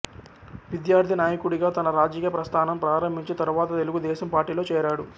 విద్యార్థి నాయకుడిగా తన రాజకీయ ప్రస్థానం ప్రారంభించి తరువాత తెలుగు దేశం పార్టీలో చేరాడు